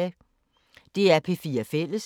DR P4 Fælles